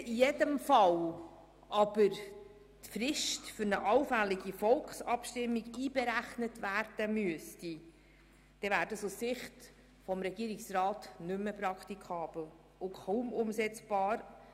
Müsste man nun aber in jedem Fall die Frist für eine allfällige Volksabstimmung einberechnen, wäre das aus Sicht des Regierungsrats nicht praktikabel und kaum umsetzbar.